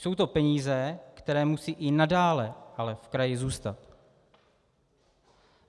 Jsou to peníze, které musí i nadále ale v kraji zůstat.